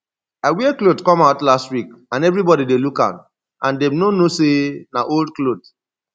i wear cloth come out last week and everybody dey look am and dey no know say na old cloth